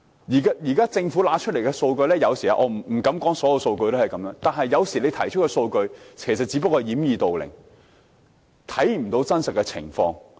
現時，政府提供的數據——我不敢說所有數據都是這樣——只不過是掩耳盜鈴，不能反映真實情況。